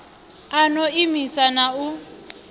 a no imisa na u